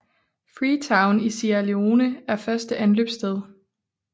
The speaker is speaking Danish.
Freetown i Sierra Leone er første anløbssted